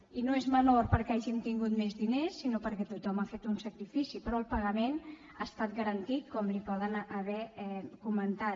i no és menor perquè hàgim tingut més diners sinó perquè tothom ha fet un sacrifici però el pagament ha estat garantit com li poden haver comentat